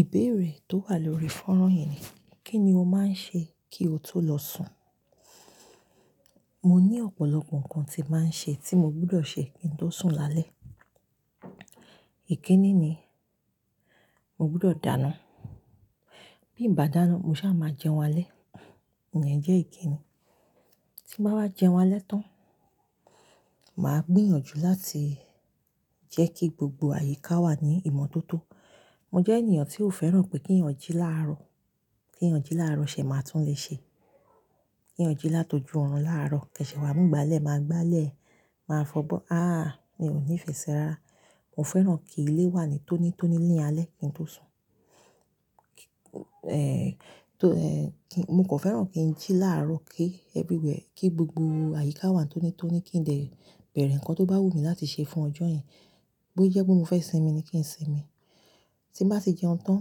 Ìbéèrè tó wà lórí fọ́nrán yìí ni, kí ni o máa ń ṣe kí o tó lọ sùn? Mo ní ọ̀pọ̀lọpọ̀ nǹkan tí màá ń ṣe tí mo gbọdọ̀ ṣe kí n tó sùn lálẹ́. Èké ní ni, mo gbọdọ̀ dáná. Bí bá dáná, mo ṣá máa jẹun álé. Ìyẹn jẹ́ èké ni. Tí bá wá jẹun álé tán, màá gbìyànjú láti jẹ́ kí gbogbo àyíká wà ní ìmọ́tótó. Mo jẹ́ ènìyàn tí ò fẹ́ràn pé kí eyàn jí láàrọ̀. Kí eyàn jí láàrọ̀ ṣẹ̀ máa tún lè ṣe. Kí eyàn jí látọjú ọ̀run láàrọ̀. Kẹṣẹ̀ wá múgbàlẹ̀ máa gbálẹ̀, máa fọ bọ́. À, mi ò ní fè se rárá. Mo fẹ́ràn kí ilé wà ní tónítóní ní alẹ́ kí n tó sùn. To kí-- mo kàn fẹ́ràn kí n jí láàrọ̀ kí everywhere, kí gbogbo àyíká wà tónítóní kí dè bẹ̀rẹ̀ ǹkan tó bá wù mí láti ṣe fún ọjọ́ yen. Bí ó jẹ́ pé mo fẹ́ sinmi ni kí n sinmi. Tí bá ti jẹun tán,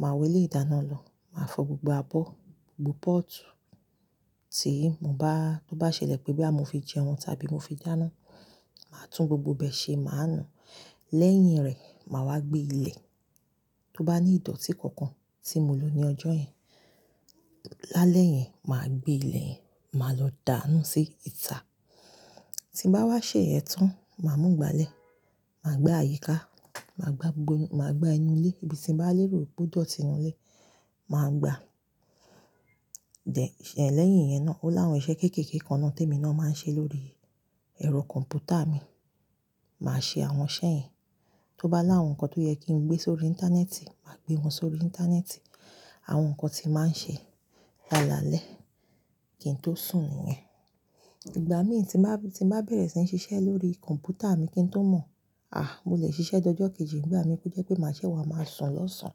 màá wọ ilé ìdáná lọ, màá fọ gbogbo abọ́, gbogbo pọ́ọ̀tù tí mo bá-- tó bá ṣẹlẹ̀ pé bí à mo fi jẹun tàbí mo fi dáná, màá tún gbogbo bẹ ṣe, màá nu. Lẹ́yìn rẹ̀, màá wá gbé ilẹ̀. Tó bá ní ìdọ́tí kankan tí mo lò ní ọjọ́ yìí, lálẹ́ yen, màá gbé ilẹ̀ yìí, màá lọ dánù sí ìta. Tí bá wá ṣẹ ìyen tán, màá mú ìgbàlẹ̀, màá gbá àyíká, màá gbá gbogbo, màá gbá inú ilé. Ibi tí ǹ bá lérò pé ó dọ́tì inú ilé, màá gbá. En- lẹ́yìn ìyẹn náà, ó láwọn iṣẹ́ kéékèèké kan náà tí èmi náà máa ń ṣe lórí ẹ̀rọ kọ̀m̀pútà mi. Màá ṣe àwọn iṣẹ́ yẹn. Tó bá láwọn nǹkan tó yẹ kí ǹ gbé sórí íńtánẹ́ẹ̀tì, màá gbé wọn sórí íńtánẹ́ẹ̀tì. Àwọn nǹkan tí màá ń ṣe lálalẹ́ kí n tó sùn nìyẹn. Ìgbà mìíràn tí màá, tí màá bẹ̀rẹ̀ sí ní ṣiṣẹ́ lórí kọ̀m̀pútà mi kí n tó mọ̀, à, mo lè ṣiṣẹ́ dọjọ́ kejì nígbà mi kò jẹ́ pé màá sè wá máa sùn lọ́sàn-án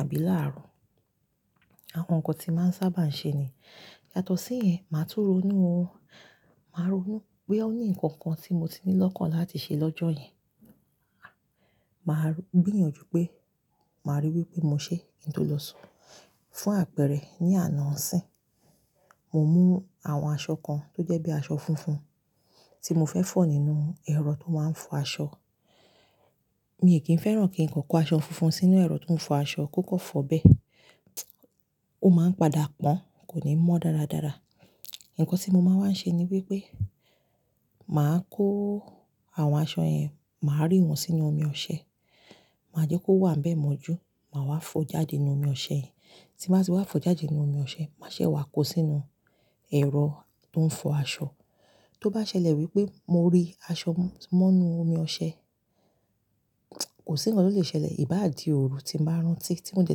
àbí láàrọ̀. Àwọn nǹkan tí màá ń sábà ń ṣe ní. Yàtọ̀ sí ìyẹn, màá tún ró nù ú, màá ronú pé ọ ní nǹkan kan tí mo ti ní lọ́kàn láti ṣe lọ́jọ́ yen. Màá gbìyànjú pé màá ríi wí pé mo ṣe kí n tó lọ sùn. Fún àpẹẹrẹ, ní àná níisín, mo mú àwọn aṣọ kan tó jẹ́ bí aṣọ funfun tí mo fẹ́ fọ̀ nínú ẹ̀rọ tó máa ń fọ aṣọ. Mi ò kí ń fẹ́ràn kí ǹ kò kó aṣọ funfun sínú ẹ̀rọ tó ń fọ aṣọ kò kọ́ fọ̀ bẹ́ẹ̀. Ó máa ń padà pọ́n, kò ní mọ́ dáradára. Ǹkan tí mo máa ń ṣe ni wípé màá kó àwọn aṣọ yẹn, màá rí wọn sínú omi ọṣẹ. Màá jẹ́ kó wà ní bẹ mọ́jú, màá wá fo jáde nínú omi ọṣẹ yẹn. Tí màá sì wá fo jáde nínú omi ọṣẹ, màá ṣẹ̀ wá kó sínú ẹ̀rọ tó ń fọ aṣọ. Tó bá ṣẹlẹ̀ wípé mo rí aṣọ mọ́ inú omi ọṣẹ, kò sí ǹkan tó lè ṣẹlẹ̀, ìbá di òru tí ǹ bá rántí tí mo de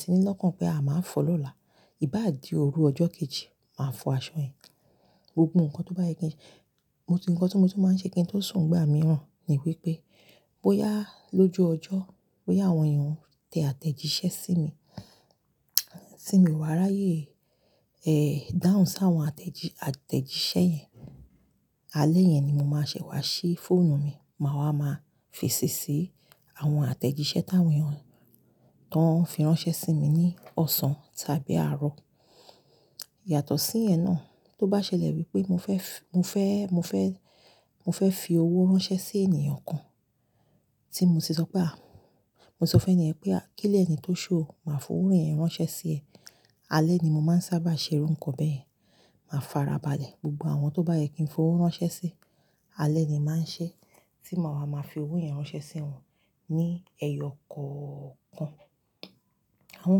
tí ní lọ́kàn pé à, màá fọ̀ lọ́la. Ìbá di òru ọjọ́ kejì, màá fọ aṣọ yẹn. Gbogbo nǹkan tó bá yẹ kí-- mo ní nǹkan tó mú tí màá ń ṣe kí ǹ tó sùn nígbà mìíràn ni wípé bóyá lóju ọjọ́, bóyá àwọn èèyàn tẹ àtẹ̀jíṣẹ́ sí mi, tí mi o wà ráyè dáhùn sí àwọn àtẹ̀jí-- àtẹ̀jíṣẹ́ yẹn, alẹ́ yẹn ni mo máa ṣẹ̀ wá ṣí fóònù mi. Màá wá máa fèsì sí àwọn àtẹ̀jíṣẹ́ táwọn èèyàn tán fi ránṣẹ́ sí mi ní ọ̀sán tàbí àárọ̀. Yàtọ̀ sí ìyẹn náà, tó bá ṣẹlẹ̀ wípé mo fẹ́ f-- mo fẹ́, mo fẹ́, mo fẹ́ fi owó ránṣẹ́ sí ènìyàn kan tí mo ti sọ pé à, mo ti sọ fún ènìyàn pé a-- kílé ẹni tó ṣú o, màá fi owó rẹ̀ ránṣẹ́ sí ẹ. Alẹ́ ni mo máa ń sábà ṣe irú nǹkan bẹ́ẹ̀. Màá farabalẹ̀ gbogbo àwọn tó bá yẹ kí ǹ fi owó ránṣẹ́ sí, alẹ́ ni màá ń ṣe. Tí màá wá máa fi owó yẹn ránṣẹ́ sí wọn ní ẹyọ kọ̀ọ̀kan. Àwọn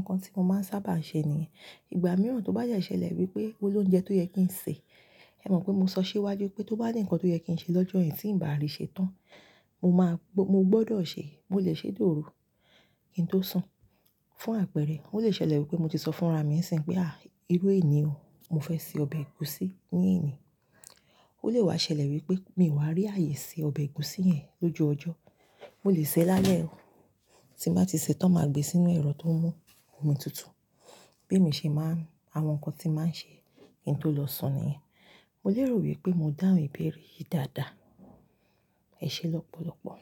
nǹkan tí mo máa ń sábà ń ṣe nìyẹn. Ìgbà mìíràn tó bá yẹ ṣẹlẹ̀ wípé ó lóúnjẹ tó yẹ kí ǹ ṣe, ẹ mọ̀ pé mo sọ siwájú pé tó bá ní ǹkan tó yẹ kí ǹ ṣe lọ́jọ́ yìí tí ǹ bá àrí ṣe tán, mo máa gbó-- mo gbọdọ̀ ṣe, mo lè ṣe di òru kí n tó sùn. Fún àpẹẹrẹ, ó lè ṣẹlẹ̀ wípé mo ti sọ fún ara mi níìsín pé à, irú èní o, mo fẹ́ sè ọbẹ̀ ẹ̀gúsí ní èní. Ó lè wá ṣẹlẹ̀ wípé mi ò wá rí ààyè ṣe ọbẹ̀ ẹ̀gúsí yẹn lóju ọjọ́. Mo lè sè ẹ́ lálẹ́ o. Tí bàá ti sè ẹ́ tán, màá gbé e sínú ẹ̀rọ tó mú omi tutù. Bí èmi ṣe máa ń-- àwọn nǹkan tí màá ń ṣe kí n tó lọ sùn nìyẹn. Mo lérò wípé mo dáhùn ìbéèrè yìí dáadáa. Ẹ ṣé lọ́pọ̀lọpọ̀.